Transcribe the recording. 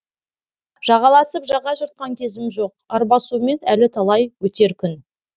жағаласып жаға жыртқан кезім жоқ арбасумен әлі талай өтер күн